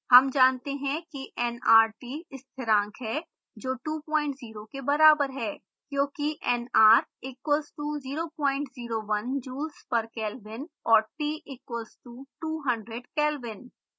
हम जानते हैं कि nrt स्थिरांक है जो 20 के बराबर है